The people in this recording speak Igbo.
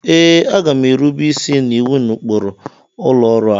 Ee, a ga m erube isi na iwu na ụkpụrụ ụlọ ọrụ a